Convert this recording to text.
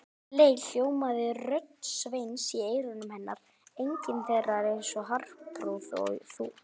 Um leið hljómaði rödd Sveins í eyrum hennar: engin þeirra er eins hárprúð og þú